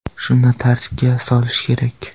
Shuni tartibga solish kerak.